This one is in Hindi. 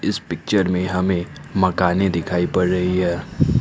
इस पिक्चर में हमें मकाने दिखाई पड़ रही है।